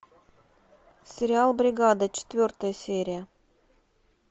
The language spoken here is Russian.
сериал бригада четвертая серия